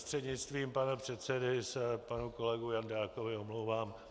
Prostřednictvím pana předsedy se panu kolegu Jandákovi omlouvám.